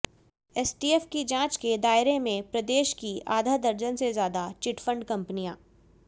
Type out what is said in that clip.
STF की जांच के दायरे में प्रदेश की आधा दर्जन से ज्यादा चिटफंड कंपनियां